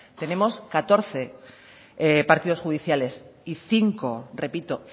tenemos catorce partidos judiciales y cinco repito